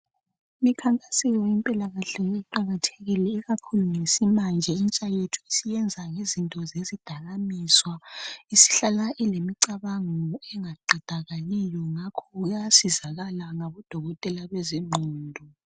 Imikhankaso yempilakahle iqakathekile. Ikakhulu ngemanje intsha yethu isiyenza ngezinto zezidakamizwa. Isihlala ilemicabango engaqedakaliyo. Ngakho iyasizakala ngabodokotela bengqondo.